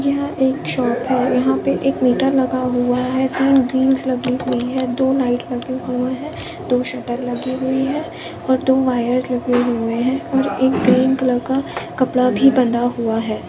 यह एक शॉप है यहाँ पर एक मीटर लगा हुआ है तीन व्हील्स लगी हुई है दो लाइट लगी हुए है दो शटर लगी हुई है और दो वायर लगे हुए है और एक ग्रीन कलर का कपड़ा भी बांधा हुआ है।